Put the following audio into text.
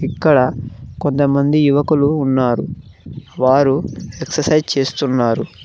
ఇక్కడ కొంతమంది యువకులు ఉన్నారు వారు ఎక్ససైజ్ చేస్తున్నారు.